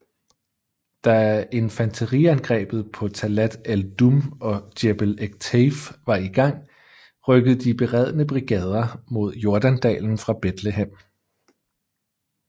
Da infanteriangrebet på Talat ed Dumm og Jebel Ekteif var i gang rykkede de beredne brigader mod Jordandalen fra Bethlehem